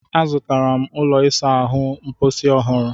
Azụtara m ụlọ ịsa ahụ mposi ọhụrụ